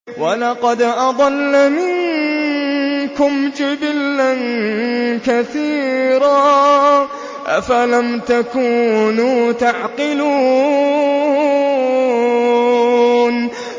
وَلَقَدْ أَضَلَّ مِنكُمْ جِبِلًّا كَثِيرًا ۖ أَفَلَمْ تَكُونُوا تَعْقِلُونَ